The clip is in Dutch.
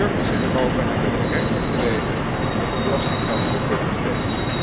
Burgers in Europese hebben er recht op te weten dat hun belastinggeld goed wordt besteed.